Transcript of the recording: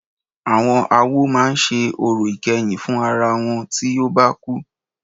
Àwọn awo máà ṣe orò ìkẹyìn fún àwọn ará wọn tí o bá kú.